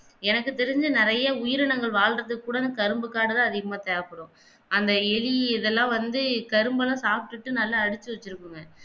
எனக்கு தெரிஞ்சு நெறைய உயிரினங்கள் வாழ்வதுக் கூட கரும்பு அதிகமாக தேவைப்படும் அந்த எலி இதல்லாம் வந்து கரும்பெல்லாம் சாப்பிட்டு நல்லா அரிச்சி வெச்சிடுக்குமே